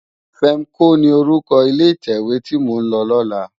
Fèmkó ni órúkò ilé itèwé ti mó n lò lòlá